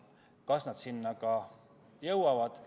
Kas nad ka sinna jõuavad?